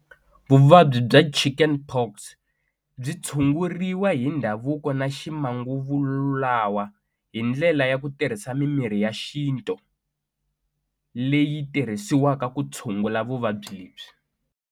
Vuvabyi bya chicken pox byi tshunguriwa hi ndhavuko na ximanguva lulawa hi ndlela ya ku tirhisa mimirhi ya xintu leyi tirhisiwaka ku tshungula vuvabyi lebyi.